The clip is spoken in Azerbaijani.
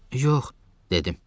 Yox, dedim.